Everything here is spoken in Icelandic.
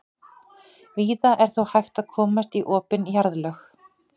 víða er þó hægt að komast í opin jarðlög